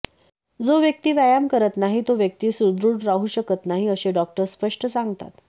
जो व्यक्ती व्यायाम करत नाही तो व्यक्ती सुदृढ राहू शकत नाही असे डॉक्टर स्पष्ट सांगतात